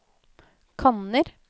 kanner